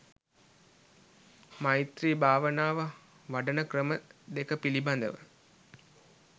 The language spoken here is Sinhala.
මෛත්‍රී භාවනාව වඩන ක්‍රම දෙක පිළිබඳව